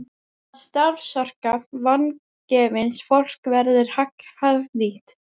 Að starfsorka vangefins fólks verði hagnýtt.